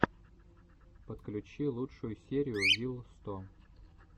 подключи лучшую серию вил сто